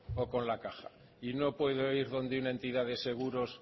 o con la caja y no puedo ir donde una entidad de seguros